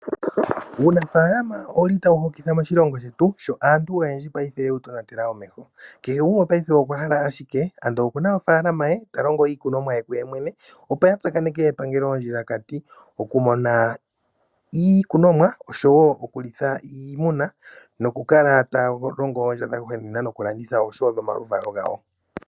Uunafaalama owuli ta wu hokitha moshilongo shetu sho aantu oyendji payife ye wu tonatela omeho, kehe gumwe payife okwahala ashike ando okuna ofaalama ye ta longo iikunomwa ye kuye mwene opo ya tsakaneke epangelo ondjilakati oku mona iikunomwa oshowo okulitha iimuna , nokukala ta ya longo oondja/iikulya dha gwanena.